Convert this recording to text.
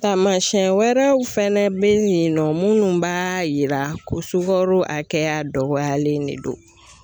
Taamasiyɛn wɛrɛw fɛnɛ bɛ yen nɔ minnu b'a yira ko sukaro a kɛya dɔgɔyalen de don.